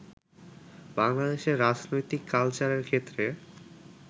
বাংলাদেশের রাজনৈতিক কালচারের ক্ষেত্রে